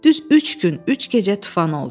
Düz üç gün, üç gecə tufan oldu.